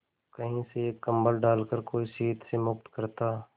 कहीं से एक कंबल डालकर कोई शीत से मुक्त करता